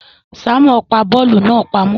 Simon pá bóòlù náà pàmò